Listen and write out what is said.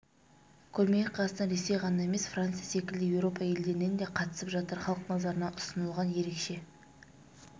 көрмеге қазақстан ресей ғана емес франция секілді еуропа елдерінен де қатысып жатыр халық назарына ұсынылған ерекше